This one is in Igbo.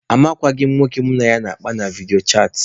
Amaghịkwa m nwoke mụ na ya na-akpa na vidiyo chaatị.